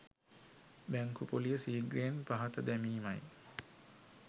බැංකු පොලිය සීඝ්‍රයෙන් පහත දැමීමයි.